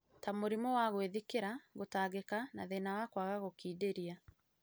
ta mũrimũ wa gwĩthikĩra, gũtangĩka, na thĩna wa kwaga gũtindĩria.